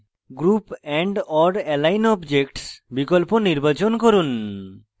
group and/or align objects বিকল্প নির্বাচন করুন